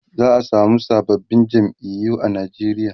za'a samu sababbin jam'iyu a Nigeria